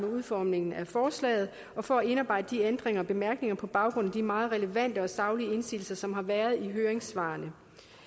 udformningen af forslaget og for at indarbejde ændringer og bemærkninger på baggrund af de meget relevante og saglige indsigelser som har været i høringssvarene